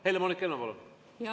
Helle-Moonika Helme, palun!